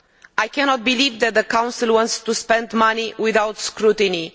I cannot believe that the Council wants to spend money without scrutiny.